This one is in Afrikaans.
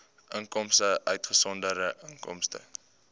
inkomste uitgesonderd inkomste